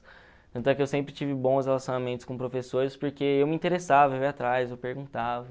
Tanto é que eu sempre tive bons relacionamentos com professores, porque eu me interessava, eu ia atrás, eu perguntava.